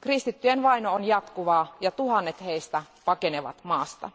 Kristittyjen vaino on jatkuvaa ja tuhannet heistä pakenevat maasta.